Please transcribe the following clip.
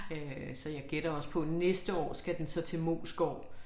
Øh så jeg gætter også på næste år skal den så til Moesgaard